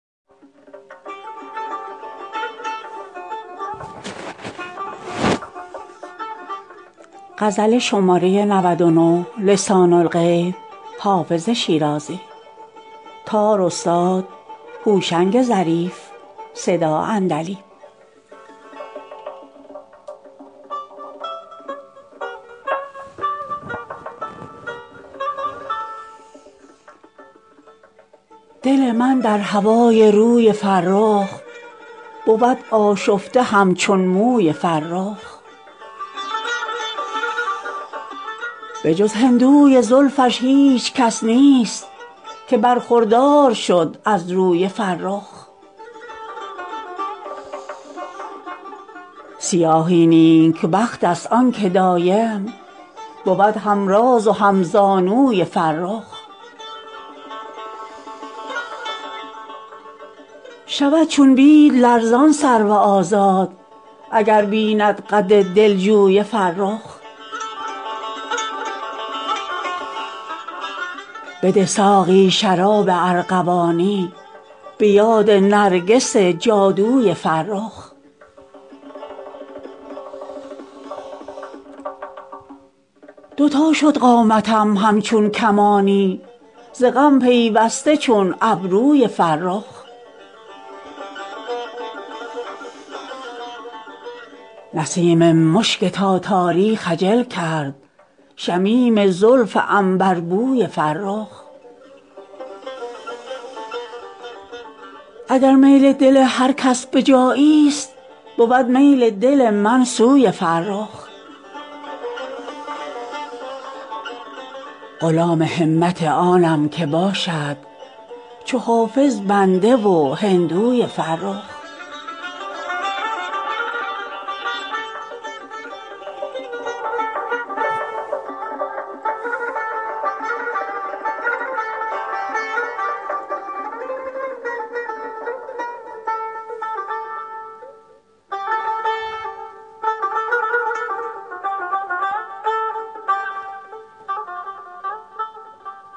دل من در هوای روی فرخ بود آشفته همچون موی فرخ به جز هندوی زلفش هیچ کس نیست که برخوردار شد از روی فرخ سیاهی نیکبخت است آن که دایم بود هم راز و هم زانوی فرخ شود چون بید لرزان سرو آزاد اگر بیند قد دلجوی فرخ بده ساقی شراب ارغوانی به یاد نرگس جادوی فرخ دو تا شد قامتم همچون کمانی ز غم پیوسته چون ابروی فرخ نسیم مشک تاتاری خجل کرد شمیم زلف عنبربوی فرخ اگر میل دل هر کس به جایی ست بود میل دل من سوی فرخ غلام همت آنم که باشد چو حافظ بنده و هندوی فرخ